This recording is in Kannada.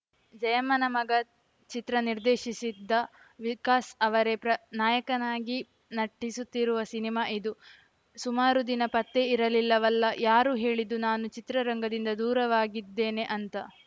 ಜಯಮ್ಮನ ಮಗ ಚಿತ್ರ ನಿರ್ದೇಶಿಸಿದ್ದ ವಿಕಾಸ್‌ ಅವರೇ ಪ್ರ ನಾಯಕನಾಗಿ ನಟಿಸುತ್ತಿರುವ ಸಿನಿಮಾ ಇದು ಸುಮಾರು ದಿನ ಪತ್ತೆ ಇರಲಿಲ್ಲವಲ್ಲ ಯಾರು ಹೇಳಿದ್ದು ನಾನು ಚಿತ್ರರಂಗದಿಂದ ದೂರವಾಗಿದ್ದೇನೆ ಅಂತ